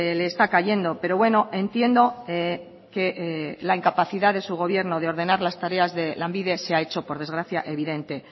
le está cayendo pero bueno entiendo que la incapacidad de su gobierno de ordenar las tareas de lanbide se ha hecho por desgracia evidente